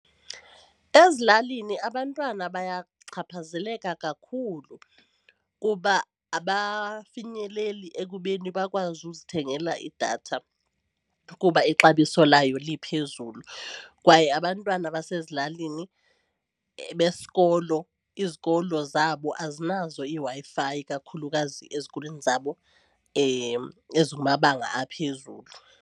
Ezilalini abantwana bayachaphazeleka kakhulu kuba abafinyeleli ekubeni bakwazi uzithengela idatha kuba ixabiso layo liphezulu kwaye abantwana basezilalini besikolo izikolo zabo azinazo iiWi-Fi kakhulukazi ezikolweni zabo ezi kumabanga aphezulu.